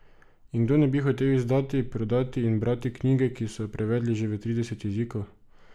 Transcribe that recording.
In kdo ne bi hotel izdati, prodati in brati knjige, ki so jo prevedli že v trideset jezikov?